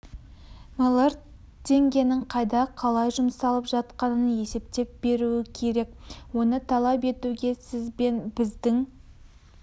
млрд теңгенің қайда қалай жұмсалып жатқанын есептеп беруі керек оны талап етуге сіз бен біздің